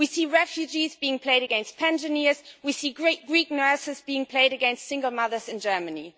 We see refugees being played against pensioners, we see Greek nurses being played against single mothers in Germany.